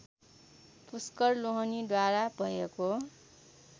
पुष्कर लोहनीद्वारा भएको